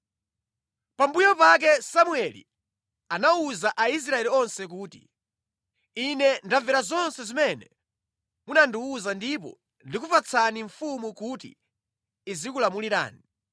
Pambuyo pake Samueli anawuza Aisraeli onse kuti, “Ine ndamvera zonse zimene munandiwuza ndipo ndakupatsani mfumu kuti izikulamulirani.